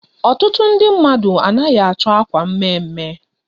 Ọtụtụ ndị mmadụ anaghị achọ akwa mme mme.